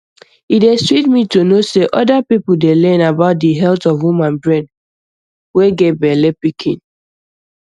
e dey sweet me to no say oder people dey learn about di health of woman brain way get bellepikin